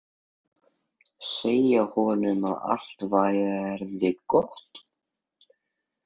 Segja honum að allt verði gott.